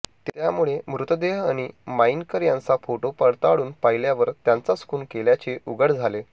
त्यामुळे मृतदेह आणि माईनकर यांचा फोटो पडताळून पाहिल्यावर त्यांचाच खून केल्याचे उघड झाले